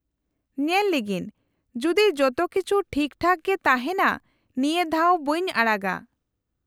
-ᱧᱮᱞ ᱞᱮᱜᱤᱧ ᱡᱩᱫᱤ ᱡᱚᱛᱚ ᱠᱤᱪᱷᱩ ᱴᱷᱤᱠ ᱴᱷᱟᱠ ᱜᱮ ᱛᱟᱦᱮᱱᱟ ᱱᱤᱭᱟᱹ ᱫᱷᱟᱣ ᱵᱟᱹᱧ ᱟᱲᱟᱜᱟ ᱾